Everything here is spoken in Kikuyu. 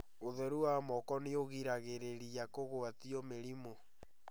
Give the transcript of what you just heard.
ũtheru wa moko nĩũgiragĩrĩria kũgwatio mĩrimũ